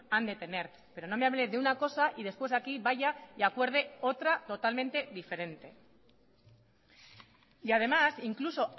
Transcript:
han de tener pero no me hable de una cosa y después aquí vaya y acuerde otra totalmente diferente y además incluso